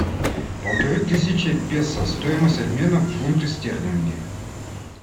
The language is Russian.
полторы тысячи песо стоимость обмена в фунты стерлинги